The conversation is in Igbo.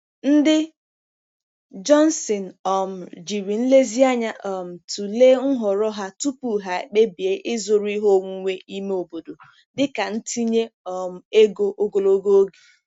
Ndị Johnson um jiri nlezianya um tụlee nhọrọ ha tupu ha ekpebie ịzụrụ ihe onwunwe ime obodo dịka ntinye um ego ogologo oge.